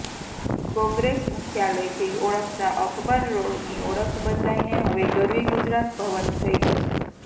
કોંગ્રેસ મુખ્યાલયથી ઓળખતા અકબર રોડની ઓળખ બદલાઈને હવે ગરવી ગુજરાત ભવન થઇ જશે